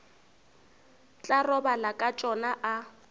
tla robala ka tšona a